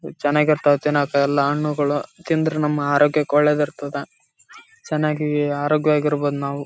ಚೆನ್ನಾಗಿರ್ತವ ತಿನ್ನಕ್ಕೆ ಎಲ್ಲ ಹಣ್ಣುಗಳು ತಿಂದ್ರೆ ನಮ್ಮ ಆರೋಗ್ಯಕ್ಕೆ ಒಳ್ಲೇದಿರ್ತದ ಚೆನ್ನಾಗಿ ಆರೋಗ್ಯವಾಗಿರ್ಬಹುದು ನಾವು.